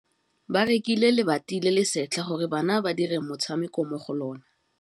Ba rekile lebati le le setlha gore bana ba dire motshameko mo go lona.